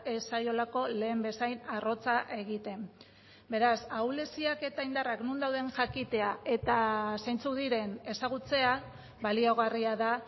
ez zaiolako lehen bezain arrotza egiten beraz ahuleziak eta indarrak non dauden jakitea eta zeintzuk diren ezagutzea baliagarria da